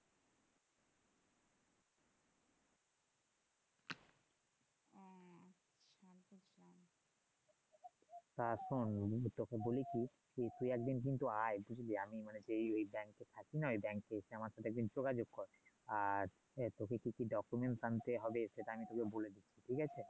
তা শোন আমি তোকে বলি কি তুই একদিন কিন্তু আয় বুঝলি আমি মানে যে এ থাকি না ওই এ এসে আমার সাথে একদিন যোগাযোগ কর আর তোকে কিছু আনতে হবে সেটা আমি তোকে বলেছি ঠিক আছে?